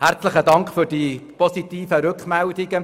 Herzlichen Dank für die positiven Rückmeldungen.